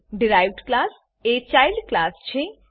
derived class એ child child class છે